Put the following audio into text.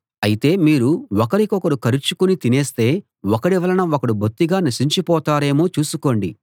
అయితే మీరు ఒకరినొకరు కరచుకుని తినేస్తే ఒకడి వలన ఒకడు బొత్తిగా నశించిపోతారేమో చూసుకోండి